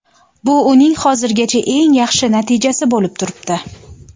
Bu uning hozirgacha eng yaxshi natijasi bo‘lib turibdi.